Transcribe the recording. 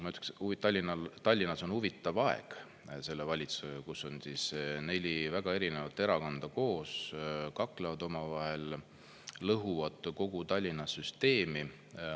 Ma ütleksin, et Tallinnas on huvitav aeg selle valitsusega, kus on neli väga erinevat erakonda koos, kes kaklevad omavahel, lõhuvad kogu Tallinna süsteemi.